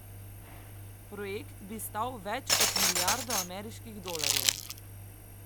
Projekt bi stal več kot milijardo ameriških dolarjev.